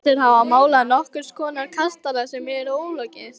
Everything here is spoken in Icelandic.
Flestir hafa málað nokkurs konar kastala sem er ólokið.